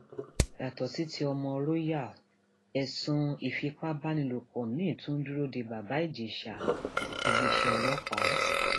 yàtọ sí ti ọmọ royal ẹsùn ìfipábánilòpọ miín tún ń dúró de bàbá ìjèṣà iléeṣẹ ọlọpàá